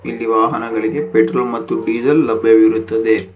ಇಲ್ಲಿ ವಾಹನಗಳಿಗೆ ಪೆಟ್ರೋಲ್ ಮತ್ತು ಡೀಸೆಲ್ ಲಭ್ಯವಿರುತ್ತದೆ.